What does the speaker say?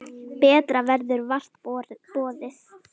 Betra verður vart boðið.